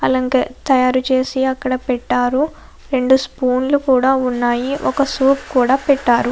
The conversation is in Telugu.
అలాగే తయారు చేసి అక్కడ పెట్టారు. రెండు స్పూన్ లు కూడా ఉన్నాయి. ఒక సూప్ కూడా పెట్టారు.